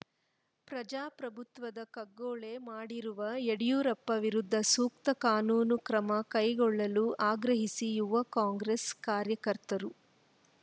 ಪ್ರಜಾಪ್ರಭುತ್ವದ ಕಗ್ಗೊಲೆ ಮಾಡಿರುವ ಯಡಿಯೂರಪ್ಪ ವಿರುದ್ಧ ಸೂಕ್ತ ಕಾನೂನು ಕ್ರಮ ಕೈಗೊಳ್ಳಲು ಆಗ್ರಹಿಸಿ ಯುವ ಕಾಂಗ್ರೆಸ್‌ ಕಾರ್ಯಕರ್ತರು